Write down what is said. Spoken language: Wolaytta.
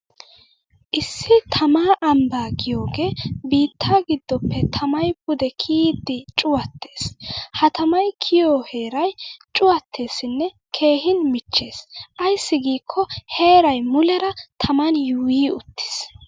Issi taamaa ambbaa giyogee biittaa giddoppe tamay pude kiyiiddi cuwattes. Ha tamay kiyiyo heeray cuwatteeesinne keehin michchessi ayssi giikko heeray muleera taman yuuyyi uttis.